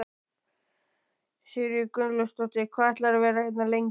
Sigríður Guðlaugsdóttir: Hvað ætlarðu að vera hérna lengi?